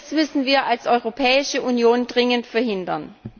Das müssen wir als Europäische Union dringend verhindern.